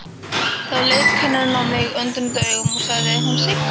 Þá leit kennarinn á mig undrunaraugum og sagði: Hún Sigga?